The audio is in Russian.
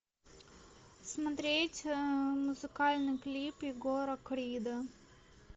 смотреть музыкальный клип егора крида